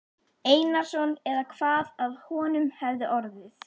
Einarsson eða hvað af honum hefði orðið.